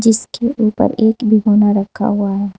इसके ऊपर एक भीगोना रखा हुआ है।